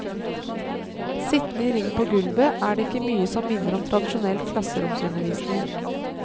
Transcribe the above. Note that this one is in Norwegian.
Sittende i ring på gulvet, er det ikke mye som minner om tradisjonell klasseromsundervisning.